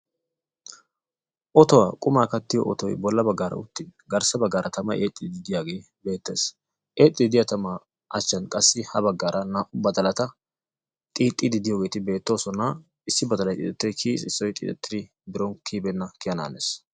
Otuwaa qumaa kattiyo otoy bolla baggaara uttin garssa bagaara tana'ay eexxiiddi diyagee beettees. Eexxiiddi diya tamaa achchan qassi ha baggaara naa''u badalata xiixxiiddi diyogeeti beettoosona. Issi badalay xiixettidi kiyiis issoy xiixettidi biron kiyibeenna kiyanaanees.